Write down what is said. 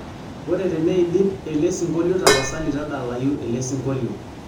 ore teneidip elesingolio tapasali tadalayu elesingolio